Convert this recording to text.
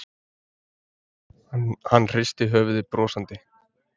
Hann hristir höfuðið brosandi.